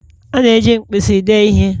A na-eji mpisi dee ihe